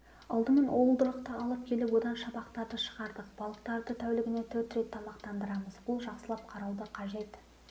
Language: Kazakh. алдымен уылдырықты алып келіп одан шабақтарды шығардық балықтарды тәулігіне төрт рет тамақтандырамыз бұл жақсылап қарауды қажет